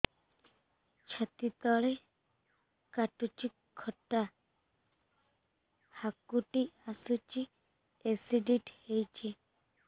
ଛାତି ତଳେ କାଟୁଚି ଖଟା ହାକୁଟି ଆସୁଚି ଏସିଡିଟି ହେଇଚି